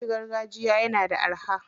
Abinci gargajiya yana da araha.